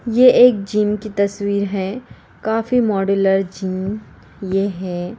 ये एक जिम की तस्वीर है | काफी मॉड्यूलर जिम ये है।